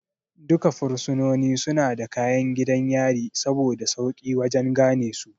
Duka fursunoni suna da kayan gidan yari saboda sauƙi wajan ganesu